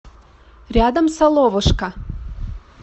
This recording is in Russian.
рядом соловушка